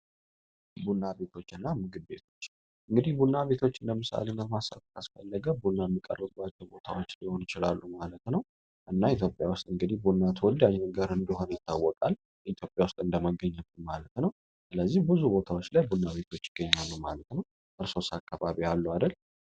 ቡናቤቶች እና ምግቤቶች እንግዲህ ቡና ቤቶች እንደምሳሌ መማሳካስ ፈለገ ቡና ሚቀረባቸው ቦታዎች ሊሆን ይችላሉ ማለት ነው እና ኢትዮጵያ ውስጥ እንግዲህ ቡና ትወዲ አዥን ጋር እንዲይሆነ ይታወቃል ኢትዮጵያ ውስጥ እንደመገኘት ማለት ነው ስለዚህ ብዙ ቦታዎች ላይ ቡና ቤቶች ይገኛኑ ማለት ነው እርሶስ አካባቢ አሉ አደል